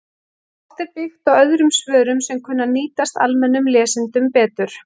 Oft er byggt á öðrum svörum sem kunna að nýtast almennum lesendum betur